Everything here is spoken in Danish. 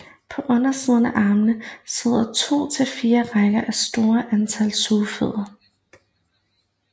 På undersiden af armene sidder to til fire rækker af et stort antal sugefødder